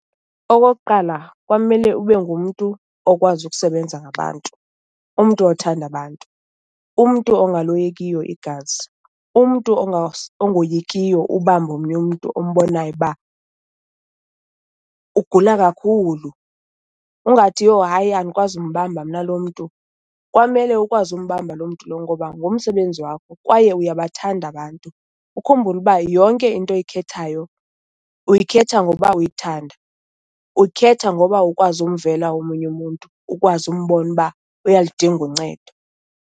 Okokuqala kwamele ube ngumntu okwazi ukusebenza ngabantu, umntu othanda abantu, umntu ongaloyikiyo igazi. Umntu ungoyikiyo ubamba omnye umntu ombonayo uba ugula kakhulu ungathi, yho hayi andikwazi kumbamba mna lo mntu. Kwamele ukwazi umbamba loo mntu lowo ngoba ngumsebenzi wakho kwaye uyabathanda abantu. Ukhumbule uba yonke into oyikhethayo uyikhetha ngoba uyithanda. Uyikhetha ngoba ukwazi ukumvela omunye umuntu, ukwazi umbona uba uyaludinga uncedo.